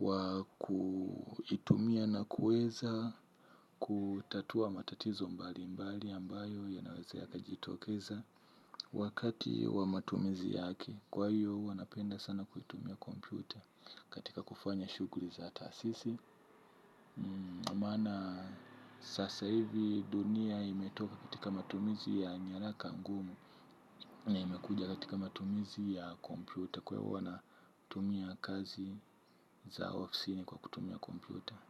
wa kuitumia na kuweza kutatua matatizo mbalimbali ambayo yanaweza yakajitokeza. Wakati wa matumizi yake kwa hiyo huwa napenda sana kuitumia kompyuta katika kufanya shuguri za taasisi. Maana sasa hivi dunia imetoka katika matumizi ya nyaraka ngumu. Na imekuja katika matumizi ya kompyuta. Kwa ivo na tumia kazi za ofisini kwa kutumia komputer.